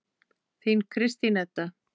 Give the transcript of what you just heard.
Þín Kristín Edda.